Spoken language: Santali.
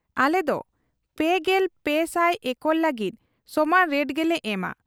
ᱟᱞᱮᱫᱚ ᱓᱓᱐᱐ ᱮᱠᱚᱨ ᱞᱟᱹᱜᱤᱫ ᱥᱚᱢᱟᱱ ᱨᱮᱴ ᱜᱮᱞᱮ ᱮᱢᱟ ᱾